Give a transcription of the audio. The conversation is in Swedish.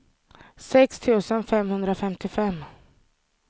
sex tusen femhundrafemtiofem